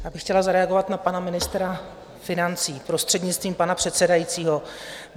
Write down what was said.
Já bych chtěla zareagovat na pana ministra financí, prostřednictvím pana předsedajícího.